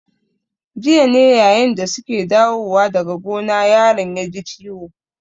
Jiya ne yayin da su ke dawowa daga gona yaron ya ji ciwo.